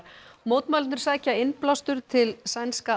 mótmælendur sækja innblástur til sænska